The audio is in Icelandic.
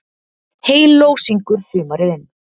Heyló syngur sumarið inn,